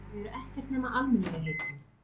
Þau eru ekkert nema almennilegheitin.